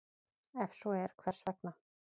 Ef svo er, hvers vegna?